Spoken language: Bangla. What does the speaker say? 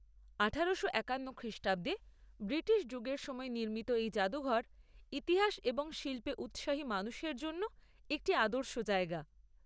আঠারোশো একান্ন খ্রিষ্টাব্দে ব্রিটিশ যুগের সময় নির্মিত এই জাদুঘর, ইতিহাস এবং শিল্পে উৎসাহী মানুষের জন্য একটি আদর্শ জায়গা।